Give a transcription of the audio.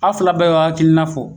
A fila bɛɛ b'a hakilina fɔ.